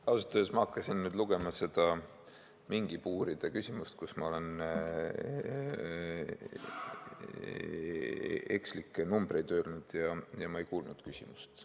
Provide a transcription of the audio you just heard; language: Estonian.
Ausalt öeldes ma hakkasin nüüd lugema, mis mingipuuride kohta kirjas on – ma olen nende kohta ekslikke numbreid öelnud –, ja ma ei kuulnud küsimust.